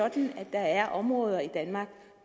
der er områder i danmark